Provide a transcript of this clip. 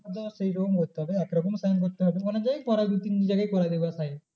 ওটা same রকম করতে হবে এক রকমই sign করতে হবে। অনেক জায়গায় করায় দু তিন জায়গায় করাবে ওরা sign